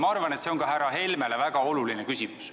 Ma arvan, et see on ka härra Helmele väga oluline küsimus.